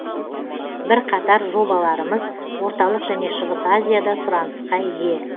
бірқатар жобаларымыз орталық және шығыс азияда сұранысқа ие